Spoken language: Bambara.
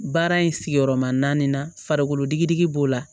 Baara in sigiyɔrɔma naani farikolo digi b'o la